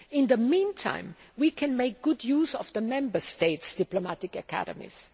In the meantime, we can make good use of the Member States' diplomatic academies.